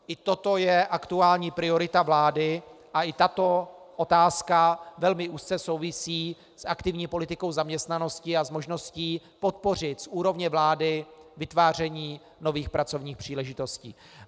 I toto je aktuální priorita vlády a i tato otázka velmi úzce souvisí s aktivní politikou zaměstnanosti a s možností podpořit z úrovně vlády vytváření nových pracovních příležitostí.